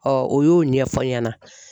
o y'o ɲɛfɔ n ɲɛna.